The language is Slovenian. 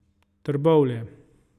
Trbovlje.